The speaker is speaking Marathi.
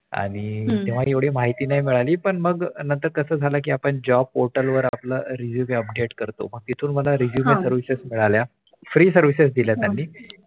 आणि हम्म तेव्हा काही माहिती नाही मिळावी पण मगनंतर का झाला Job portal वर पण पाला Resume update करतो मग हम्म तिथून मला Resume services मिळाल्या हम्म Free services दिल्या त्यांनी